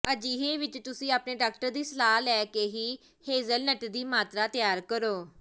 ਅਜਿਹੇ ਵਿੱਚ ਤੁਸੀਂ ਆਪਣੇ ਡਾਕਟਰ ਦੀ ਸਲਾਹ ਲੈ ਕੇ ਹੀ ਹੇਜਲਨਟ ਦੀ ਮਾਤਰਾ ਤੈਅ ਕਰੋ